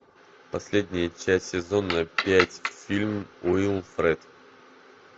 последняя часть сезона пять фильм уилфред